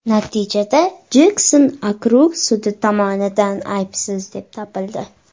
Natijada Jekson okrug sudi tomonidan aybsiz deb topildi.